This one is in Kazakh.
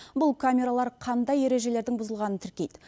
бұл камералар қандай ережелердің бұзылғанын тіркейді